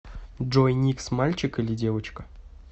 джой никс мальчик или девочка